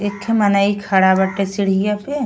एखठे मनइ खड़ा बाटे सीड़िया पे --